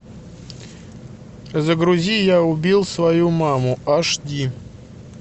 загрузи я убил свою маму аш ди